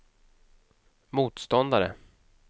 motståndare